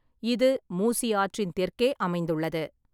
இது மூசி ஆற்றின் தெற்கே அமைந்துள்ளது.